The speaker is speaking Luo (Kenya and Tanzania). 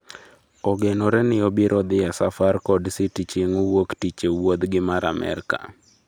Ogenore ni obiro dhi e safar kod City chieng' wuok tich e wuodh gi mar Amerka